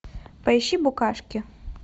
поищи букашки